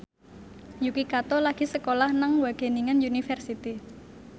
Yuki Kato lagi sekolah nang Wageningen University